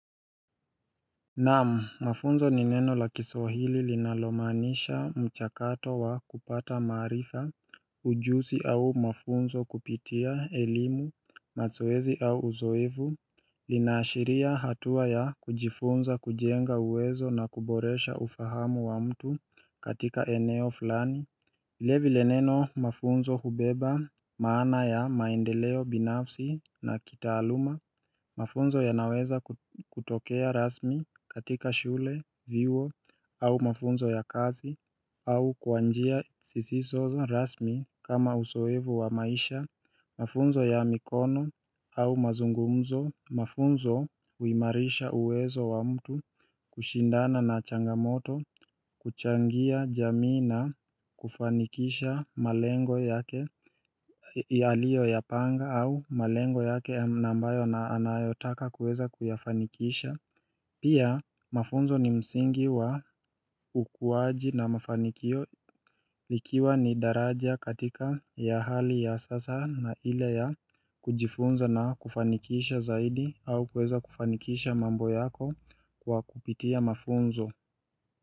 Naam, mafunzo ni neno la kiswahili linalomaanisha mchakato wa kupata maarifa, ujuzi au mafunzo kupitia, elimu, mazoezi au uzoevu Linaashiria hatua ya kujifunza kujenga uwezo na kuboresha ufahamu wa mtu katika eneo fulani vilevile neno mafunzo hubeba, maana ya maendeleo binafsi na kitaaluma Mafunzo yanaweza kutokea rasmi katika shule, vyuo, au mafunzo ya kazi, au kwa njia sisisozo rasmi kama uzoefu wa maisha Mafunzo ya mikono au mazungumzo, mafunzo uimarisha uwezo wa mtu, kushindana na changamoto, kuchangia jamii na, kufanikisha malengo yake ya aliyoyapanga au malengo yake ambayo na anayotaka kuweza kuyafanikisha Pia mafunzo ni msingi wa ukuaji na mafanikio likiwa ni daraja katika ya hali ya sasa na ile ya kujifunza na kufanikisha zaidi au kueza kufanikisha mambo yako kwa kupitia mafunzo.